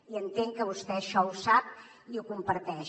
i entenc que vostè això ho sap i ho comparteix